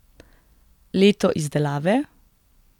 Leto izdelave?